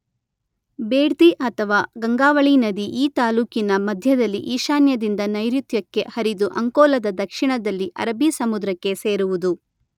ಬೇಡ್ತಿ ಅಥವಾ ಗಂಗಾವಳಿ ನದಿ ಈ ತಾಲ್ಲೂಕಿನ ಮಧ್ಯದಲ್ಲಿ ಈಶಾನ್ಯದಿಂದ ನೈಋತ್ಯಕ್ಕೆ ಹರಿದು ಅಂಕೋಲದ ದಕ್ಷಿಣದಲ್ಲಿ ಅರಬ್ಬಿ ಸಮುದ್ರಕ್ಕೆ ಸೇರುವುದು.